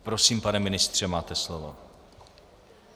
Prosím, pane ministře, máte slovo.